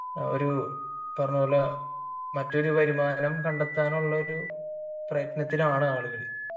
ആഹ് ഒരു ഇപ്പറഞ്ഞപോലെ മറ്റു വരുമാനം കണ്ടെത്താനുള്ള പ്രയത്നത്തിലാണ് ആളുകൾ